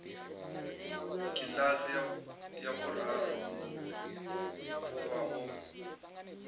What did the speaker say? kiḽasi ya vhuraru khuvha o